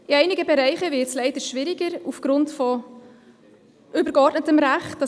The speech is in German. In einigen Bereichen wird es aufgrund von übergeordnetem Recht leider schwieriger.